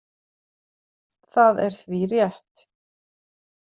Það er því rétt.